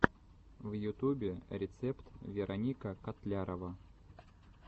в ютубе рецепт вероника котлярова